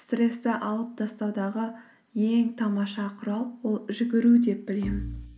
стрессті алып тастаудағы ең тамаша құрал ол жүгіру деп білемін